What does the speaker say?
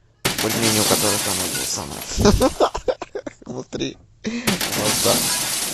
бульмени у которых там это самое внутри вода